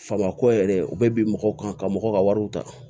Faama ko yɛrɛ u bɛ bin mɔgɔw kan ka mɔgɔw ka wariw ta